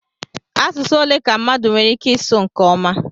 Asụsụ ole ka mmadụ nwere ike ịsụ nke ọma?